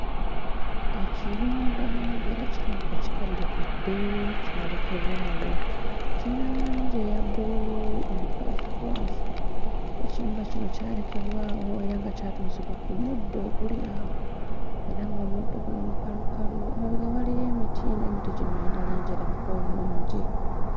Ekiyumba ng'era kirabika kikaddekadde kyalekebwa awo kiyina langi eya bbululu omukwafukwafu ekiyumba kino kyalekebwa awo era nga kyatuuzibwa ku muddo guli awo era ng'omuddo guno mukalukalu emabega waliyo emiti naye emiti gino giyina langi erabika obulungi.